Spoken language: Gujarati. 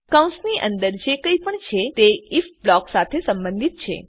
કૌંસની અંદર જે કઈ પણ છે તે આઇએફ બ્લોક સાથે સંબંધિત છે